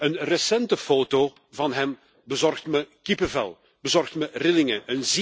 Een recente foto van hem bezorgt me kippenvel, bezorgt me rillingen.